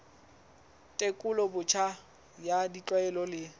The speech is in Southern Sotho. tekolo botjha ya ditlwaelo le